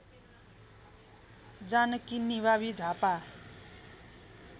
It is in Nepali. जानकी निमावि झापा